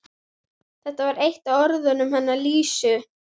Þetta var eitt af orðunum hennar Lísu.